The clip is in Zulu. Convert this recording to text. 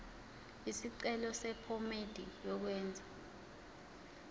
isicelo sephomedi yokwenze